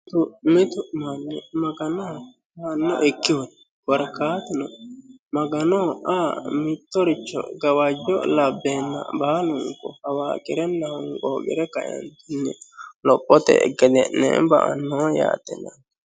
Mitu manni Magano anfokkihu korkaatuno Maganoha aa mitto gawajo labbenna baalunku qawaxire lophe kae gede'ne ba'ano yaate.